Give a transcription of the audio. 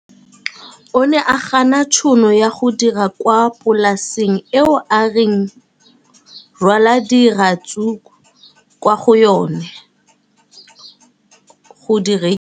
O ne a gana tšhono ya go dira kwa polaseng eo a neng rwala diratsuru kwa go yona go di rekisa.